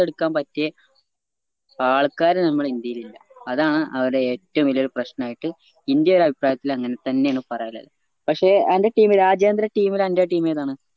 ത്തെടുക്കാൻ പറ്റിയെ ആൾക്കാര് നമ്മളെ ഇന്ത്യയിലില്ല അതാണ് അവർടെ ഏറ്റവും വലിയ പ്രശ്നായിട്ട് ഇന്റെ ഒരഭിപ്രായത്തില് അങ്ങൻതന്നെ ആണ് പറയാനില്ലേ പക്ഷേ അന്റെ team ല് രാജ്യാന്തര team ല് അന്റെ team ഏതാണ്